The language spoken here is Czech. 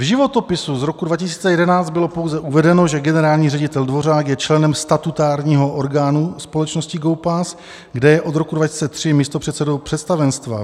V životopisu z roku 2011 bylo pouze uvedeno, že generální ředitel Dvořák je členem statutárního orgánu společnosti GOPAS, kde je od roku 2003 místopředsedou představenstva.